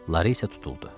Lara isə tutuldu.